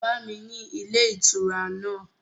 Bá mi ni ilé ìtura náà!